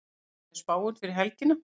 hvernig er spáin fyrir helgina